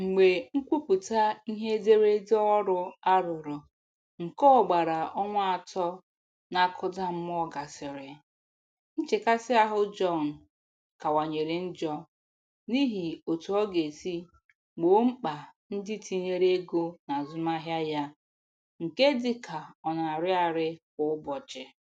Mgbe nkwuputa ihe ederede ọrụ arụrụ nke ogbara ọnwa atọ na-akụda mmụọ gasịrị, nchekasị ahụ John kawanyere njọ n'ihi otu ọ ga esi gboo mkpa ndị tinyere ego n'azụmahịa ya nke dịka ọ na-arị arị kwa ụbọchị.